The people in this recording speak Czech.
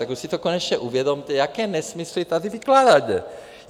Tak už si to konečně uvědomte, jaké nesmysly tady vykládáte.